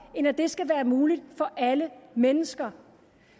end at det skal være muligt for alle mennesker